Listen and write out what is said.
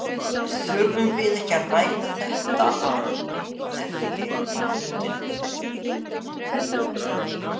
Þurfum við ekki að ræða þetta á eftir á fundinum?